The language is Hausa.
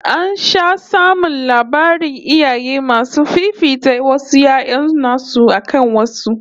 An sha samun labarin iyaye masu fifita wasu 'ya'yan nasu akan wasu